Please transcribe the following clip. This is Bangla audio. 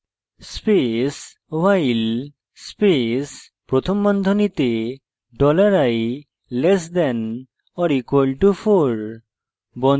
space while space প্রথম বন্ধনীতে dollar i less than or equal to 4